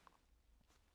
DR2